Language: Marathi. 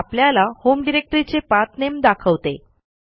हे आपल्याला होम डिरेक्टरीचे पाठ नामे दाखवते